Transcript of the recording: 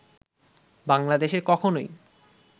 বাংলাদেশে কখনই